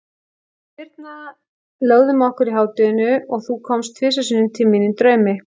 Við Birna lögðum okkur í hádeginu og þú komst tvisvar sinnum til mín í draumi.